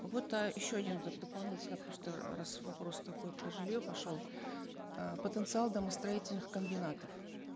вот э еще один дополнительно просто раз вопрос такой про жилье пошел э потенциал домостроительных комбинатов